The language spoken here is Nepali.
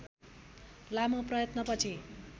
लामो प्रयत्नपछि